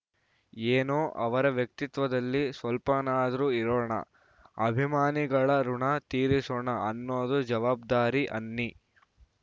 ಏನೋ ಅವರ ವ್ಯಕ್ತಿತ್ವದಲ್ಲಿ ಸ್ವಲ್ಪನಾದ್ರೂ ಇರೋಣ ಅಭಿಮಾನಿಗಳ ಋುಣ ತೀರಿಸೋಣ ಅನ್ನೋದು ಜವಾಬ್ದಾರಿ ಅನ್ನಿ